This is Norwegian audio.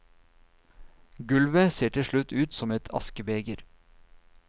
Gulvet ser til slutt ut som et askebeger.